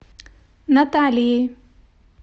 наталией